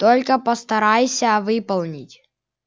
только постарайся выполнить